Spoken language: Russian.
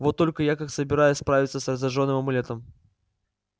вот только как я собираюсь справиться с разряженным амулетом